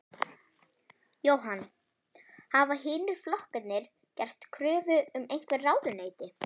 Jóhann: Hafa hinir flokkarnir gert kröfu um einhver ráðuneyti?